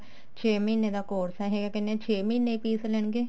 ਛੇ ਮਹੀਨੇ ਦਾ course ਹੈ ਇਹ ਉਹ ਕਹਿਨੇ ਆ ਛੇ ਮਹੀਨੇ ਹੀ fees ਲੈਣਗੇ